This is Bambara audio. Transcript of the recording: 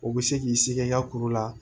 O bɛ se k'i sigi i ka kuru la